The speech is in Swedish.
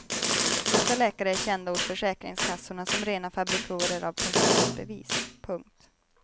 Vissa läkare är kända hos försäkringskassorna som rena fabrikörer av pensionsbevis. punkt